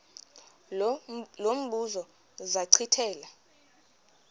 lo mbuzo zachithela